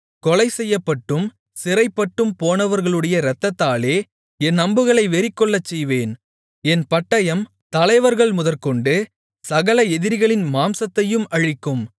கொலைசெய்யப்பட்டும் சிறைப்பட்டும் போனவர்களுடைய இரத்தத்தாலே என் அம்புகளை வெறிகொள்ளச்செய்வேன் என் பட்டயம் தலைவர்கள் முதற்கொண்டு சகல எதிரிகளின் மாம்சத்தையும் அழிக்கும்